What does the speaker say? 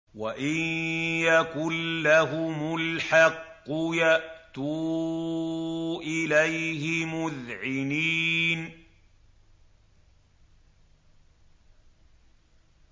وَإِن يَكُن لَّهُمُ الْحَقُّ يَأْتُوا إِلَيْهِ مُذْعِنِينَ